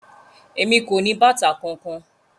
Emi ko ni bàtà kánkan.